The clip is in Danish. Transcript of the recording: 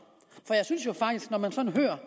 for jeg synes faktisk når man sådan hører